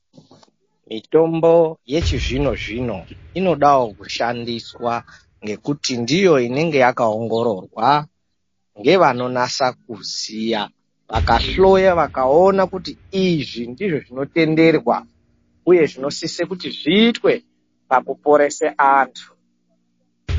Mitombo yechizvinozvino inodao kushandiswa ngekuti ndiyo inenge yakaongororwa ngevanonase kuziya vakahloya vakaona kuti izvi ndizvo zvinotenderwa uye zvinosise kuti zviitwe pakuporesa antu.